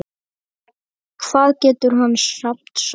Hvað getur hann samt sagt?